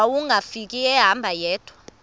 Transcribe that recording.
wawungafika ehamba yedwa